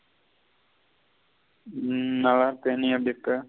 ம் நல்ல இருக்க. நீ எப்படி இருக்க.